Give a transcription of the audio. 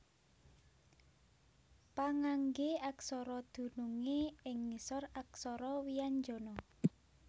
Pangangge aksara dunungé ing ngisor aksara wianjana